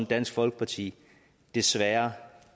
dansk folkeparti desværre